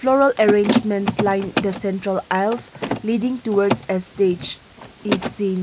Floral arrangements line the central ailes leading towards a stage is seen.